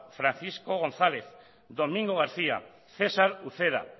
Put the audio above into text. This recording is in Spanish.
francisco gonzález domingo garcía cesar uceda